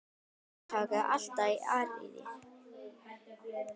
Hafið togaði alltaf í Aríel.